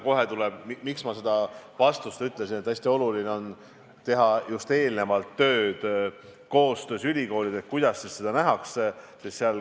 Hästi oluline on eelnevalt koostöös ülikoolidega arutada, kuidas seda ikkagi nähakse.